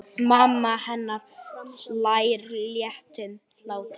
Mamma hennar hlær léttum hlátri.